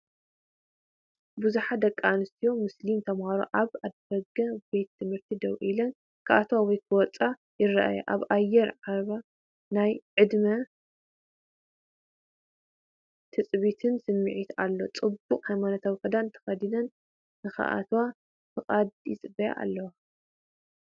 ብዙሓት ደቂ ኣንስትዮ ምስሊም ተማሃሮ ኣብ ኣፍደገ ቤት ትምህርቲ ደው ኢለን፡ ክኣትዋ ወይ ክኣትዋ ክጽበያ ይረኣያ። ኣብ ኣየር ዓብየ ናይ ዕድመን ትጽቢትን ስምዒት ኣሎ። ጽቡቕ ሃይማኖታዊ ክዳን ተኸዲኒን፡ ንኽኣትዋ ፍቓድ ይጽበያ ኣለዋ።